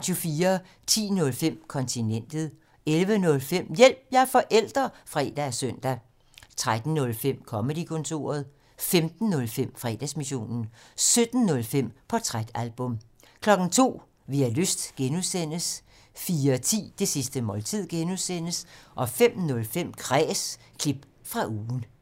10:05: Kontinentet 11:05: Hjælp – jeg er forælder! (fre og søn) 13:05: Comedy-kontoret 15:05: Fredagsmissionen 17:05: Portrætalbum 02:00: Vi har lyst (G) 04:10: Det sidste måltid (G) 05:05: Kræs – klip fra ugen